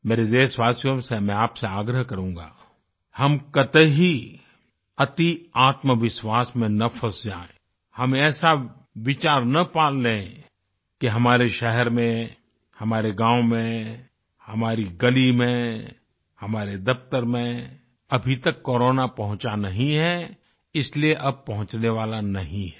मेरे देशवासियों से मैं आपसे आग्रह करूँगा हम कतई अतिआत्मविश्वास में न फंस जाएं हम ऐसा विचार न पाल लें कि हमारे शहर में हमारे गाँव में हमारी गली में हमारे दफ़्तर में अभी तक कोरोना पहुंचा नहीं है इसलिए अब पहुँचने वाला नहीं है